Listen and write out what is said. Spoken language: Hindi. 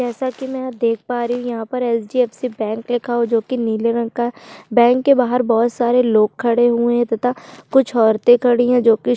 जैसा की मैं देख पा रही हूँ यहाँ पर H D F C bank लिखा हुआ है जोकि नील रंग का है बैंक के बाहर बहुत सारे लोग खड़े हुए है तथा कुछ औरते खड़ी है जो कि--